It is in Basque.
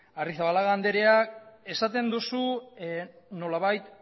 arrizabalaga andrea esaten duzu nolabait